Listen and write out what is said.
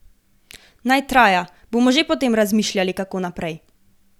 Naj traja, bomo že potem razmišljali, kako naprej.